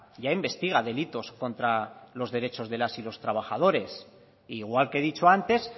ya investiga delitos contra los derechos de las y los trabajadores e igual que he dicho antes